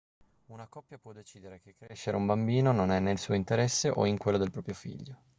una coppia può decidere che crescere un bambino non è nel suo interesse o in quello del proprio figlio